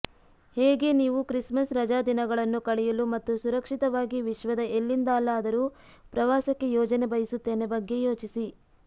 ಹೇಗೆ ನೀವು ಕ್ರಿಸ್ಮಸ್ ರಜಾದಿನಗಳನ್ನು ಕಳೆಯಲು ಮತ್ತು ಸುರಕ್ಷಿತವಾಗಿ ವಿಶ್ವದ ಎಲ್ಲಿಂದಲಾದರೂ ಪ್ರವಾಸಕ್ಕೆ ಯೋಜನೆ ಬಯಸುತ್ತೇನೆ ಬಗ್ಗೆ ಯೋಚಿಸಿ